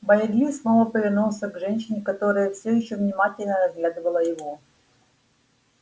байерли снова повернулся к женщине которая всё ещё внимательно разглядывала его